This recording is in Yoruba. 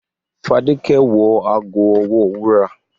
The woman wore a golden bracelet to the party